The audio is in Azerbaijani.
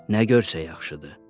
Nə görsə yaxşıdır.